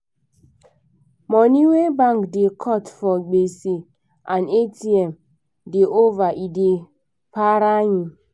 money wey bank da cut for gbese and atm da over e da para me